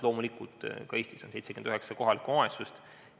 Loomulikult, Eestis on 79 kohalikku omavalitsust.